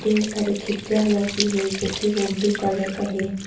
ढेर सारी खिड़कियां लोग भी है जो कि ओ ब्लू कलर का है।